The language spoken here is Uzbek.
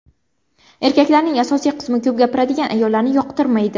Erkaklarning asosiy qismi ko‘p gapiradigan ayollarni yoqtirmaydi.